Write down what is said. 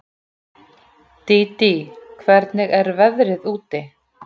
Dídí, hvernig er veðrið úti?